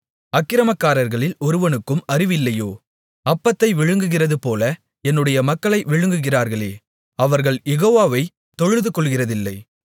அக்கிரமக்காரர்களில் ஒருவனுக்கும் அறிவு இல்லையோ அப்பத்தை விழுங்குகிறதுபோல என்னுடைய மக்களை விழுங்குகிறார்களே அவர்கள் யெகோவாவை தொழுதுகொள்ளுகிறதில்லை